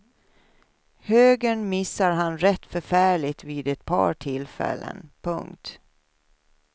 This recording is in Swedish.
Högern missar han rätt förfärligt vid ett par tillfällen. punkt